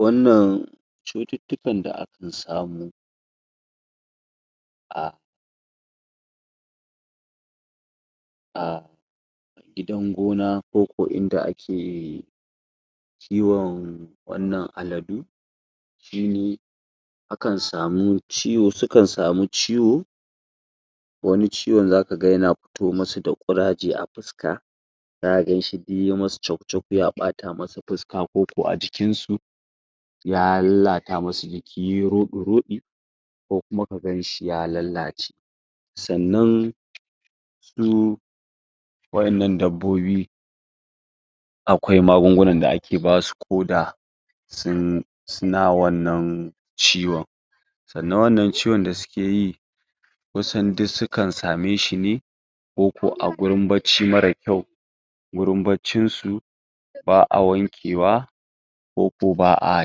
Wannan chututtukan da aka samu a a gidan gona koko inda ake kiwon wannan aladu akan samu ciwo, sukan samu ciwo wani ciwon zaka ga yana pito masu da ƙuraje a puska zaka ganshi dai duk yayi masu chok chok ya ɓata masu puska ko ko a jikin su ya lallata masu jiki, ya yi roɗu roɗi ko kuma ka ganshi ya lallace sannan su wa'innan dabbobi akwai magungunan da ake basu ko da sun...suna wannan ciwon sannan wannan ciwon da suke yi kusan duk su kan same shi ne ko ko a gurin barci marar kyau wurin barcin su, ba'a wankewa ko ko ba'a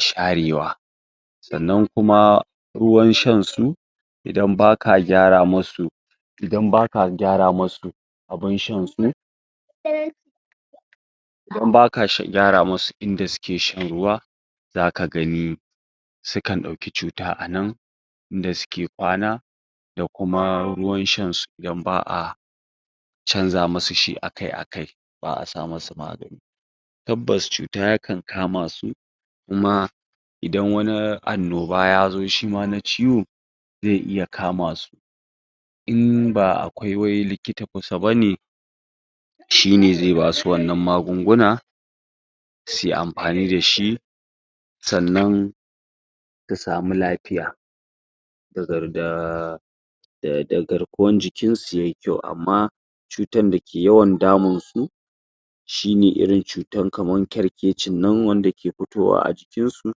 sharewa sannan kuma ruwan shan su, idan ba ka gyara masu idan ba ka gyara masu abun shan su idan ba ka gyara musu inda suke shan ruwa, za ka gani sukan ɗauki chuta a nan, inda suke kwana da kuma ruwan shan su idan ba'a chanza masu shi akai akai, ba'a sa masu magani tabbas chuta ya kan kama su, kuma idan wani annoba ya zo shi ma na ciwo zai iya kama su in ba akwai wai likita kusa bane shine zai basu wannan magugunan su yi ampani da shi sannan su sami lapiya daga garkuwan su yayi kyau amma chutan da ke yawan damun su shi ne irin cutan kamar kerkecin nan wanda ke pitowa a jikin su,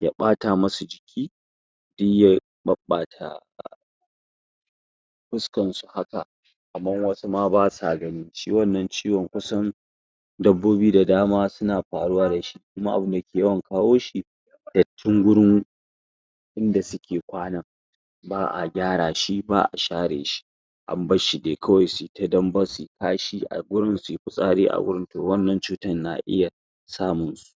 ya ɓata masu jiki duk ya ɓaɓata puskan su ha, kaman wasu ma ba sa gani, shi wannan ciwon kusan dabbobi da dama suna paruwa da shi kuma abun da ke yawwan kawo shi, dattin gurin da suke kwana ba'a gyara shi, ba'a share shi an barshi dai kawai su yi ta dambe, su yi kashi a gurin, su yi pitsari a gurin, toh wannan chutan na iya samun su.